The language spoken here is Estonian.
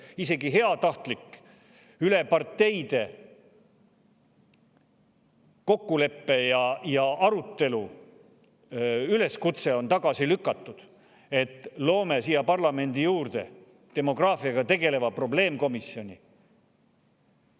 Isegi parteiülese heatahtliku kokkuleppe ja arutelu üleskutse, et loome parlamendis demograafiaga tegeleva probleemkomisjoni, on tagasi lükatud.